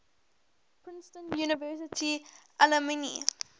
princeton university alumni